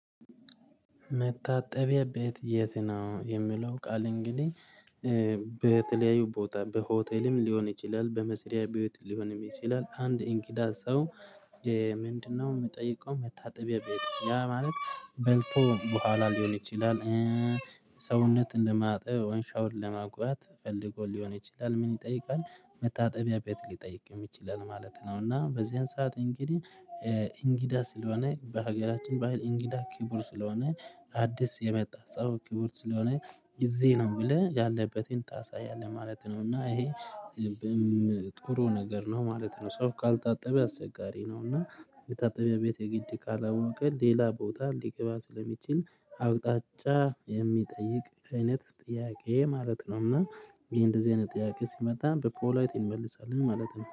መታጠቢያ ቤት የት ነው? የምለው ቃል እንግዲህ በተለያዩ ቦታ በሆቴልም ሊሆን ይችላል በመስሪያ ቤት ሊሆንም ይችላል አንድ እንኪዳ ሰው ምንድነው የምጠይቀው መታጠቢያ ቤት ያ ማለት በልቶ በኋላ ሊሆን ይችላል ሰውነትን ለማጠብ ወይም ሻውር ለመግባት ፈልጎ ሊሆን ይችላል ምን ይጠይቃል መታጠቢያ ቤት ሊጠይቀን ይችላል ማለት ነው እና በዚህን ሰዓት እንግዲህ እንግዳ ስለሆነ በሀገራችን በሃይል እንግዳ ክቡር ስለሆነ አዲስ የመጣ ሰው ክቡር ስለሆነ ጊዜ ነው የምልህ ያለበትን ታሳያለህ ማለት ነው እና ይሄ ጥሩ ነገር ነው ማለት ነው ሰው ካልታጠበ አስቸጋሪ ነው እና የታጠበ ቤት የግድ ካላወቀ ሌላ ቦታ እንዲቅባ ስለሚችል አቅጣጫ የሚጠይቅ አይነት ጥያቄ ማለት ነው እና ይሄ እንደዚህ አይነት ጥያቄ ሲመጣ በፖላቲን እንመልሳለን ማለት ነው